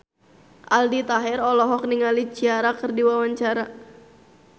Aldi Taher olohok ningali Ciara keur diwawancara